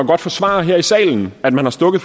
godt forsvare her i salen at man har stukket